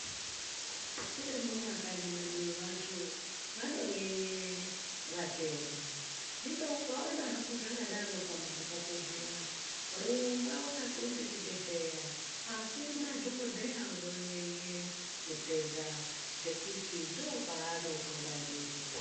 Tiri mumakanyi mwedu vantu vanonyenya vatenda. Ukaona hako zvakadaro zviyani pamuzi pako rumba wakaxonda chibhedhlera, akuna dhokodheya unonyenye mutenda ngekuti ndopaanopona ndipo.